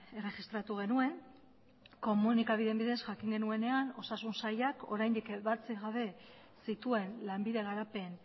erregistratu genuen komunikabideen bidez jakin genuenean osasun sailak oraindik ebatzi gabe zituen lanbide garapen